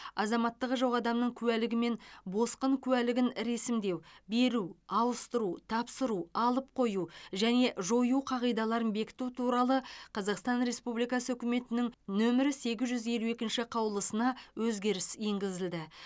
азаматтығы жоқ адамның куәлігі мен босқын куәлігін ресімдеу беру ауыстыру тапсыру алып қою және жою қағидаларын бекіту туралы қазақстан республикасы үкіметінің нөмірі сегіз жүз елу екінші қаулысына өзгеріс енгізілді